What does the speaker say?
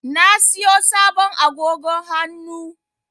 Na siyo sabon agogo hannu.